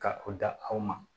Ka o da aw ma